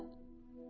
Arvad üstə.